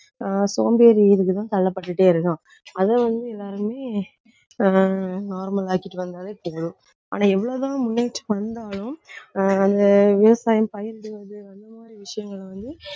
ஆஹ் சோம்பேறி இதுக்குதான் தள்ளப்பட்டுட்டே இருக்கான். அதை வந்து எல்லாருமே ஆஹ் normal ஆக்கிட்டு வந்தாலே போதும். ஆனா எவ்வளவுதான் முன்னேற்றம் வந்தாலும் ஆஹ் அந்த விவசாயம் பயிரிடுவது அந்த மாதிரி விஷயங்கள் வந்து